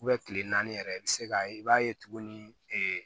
kile naani yɛrɛ i bɛ se ka i b'a ye tuguni